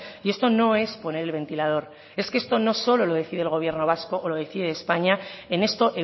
y esto no es poner el ventilador es que esto no solo lo decide el gobierno vasco o lo decide españa en esto